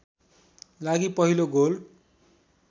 लागि पहिलो गोल